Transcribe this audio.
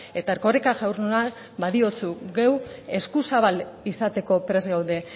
eta erkoreka jauna gu eskuzabal izateko prest gaude